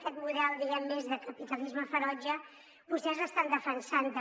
aquest model diguem ne més de capitalisme ferotge vostès l’estan defensant també